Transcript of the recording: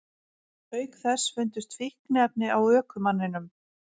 Auk þess fundust fíkniefni á ökumanninum